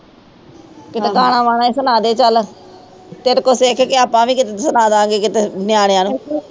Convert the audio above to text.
ਕੀਤੇ ਗਾਣਾ ਵਾਣਾ ਹੀ ਸਨਾਦੇ ਚਲ ਤੇਰੇ ਕੋਲੋਂ ਸਿਖ ਕੇ ਆਪਾ ਵੀ ਕੀਤੇ ਸਨਾਦਾਗੇ ਕਿਤੇ ਨਿਆਣਿਆਂ ਨੂੰ